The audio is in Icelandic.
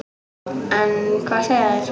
En hvað segja þeir?